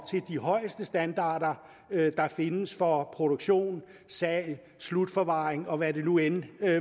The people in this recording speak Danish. til de højeste standarder der findes for produktion salg slutforvaring og hvad der nu end